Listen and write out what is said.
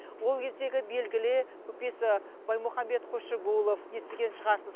ол кездегі белгілі көпес баймұхамбет қосшыгулов естіген шығарсыз